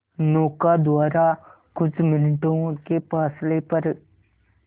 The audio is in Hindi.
नौका द्वारा कुछ मिनटों के फासले पर